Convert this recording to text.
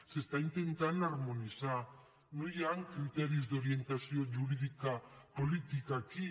s’està intentant harmonitzar no hi han criteris d’orientació jurídica política aquí